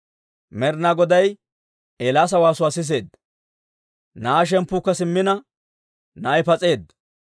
Med'inaa Goday Eelaasa waasuwaa siseedda. Na'aa shemppuukka simmina, na'ay pas'eedda.